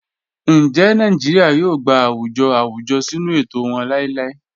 Ńjẹ́ Nàìjíríà yóò gbà àwùjọ̀ àwùjọ̀ sínu ètò wọn làìlàì?"